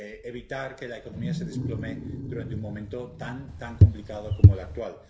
evitar que la economía se desplome durante un momento tan complicado como el actual.